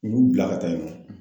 U y'u bila ka taa yen nɔ.